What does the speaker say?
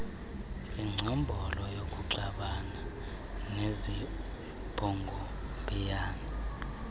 ingcombolo yokuxabana nezibhongobhiyane